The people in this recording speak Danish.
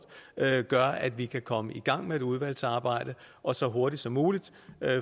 gør at vi kan komme i gang med et udvalgsarbejde og så hurtigt som muligt